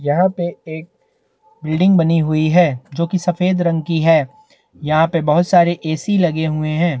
यहाँ पे एक बिल्डिंग बनी हुई है जो की सफेद रंग की है यहाँ पे बहोत सारे एसी लगे हुए है।